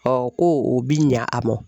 ko o bi ɲɛ a mɔn.